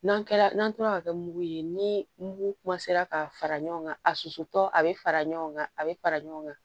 N'an kɛra n'an tora ka kɛ mugu ye ni mugu ka fara ɲɔgɔn kan a susutɔ a bɛ fara ɲɔgɔn kan a bɛ fara ɲɔgɔn kan